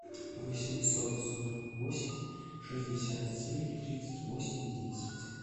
восемьсот сорок восемь шестьдесят семь тридцать восемь десять